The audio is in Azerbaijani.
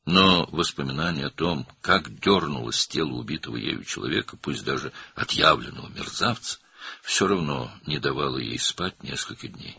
Lakin onun öldürdüyü adamın, hətta tam bir alçaq olsa belə, bədəninin necə titrədiyini xatırlaması bir neçə gün yatmağa imkan vermədi.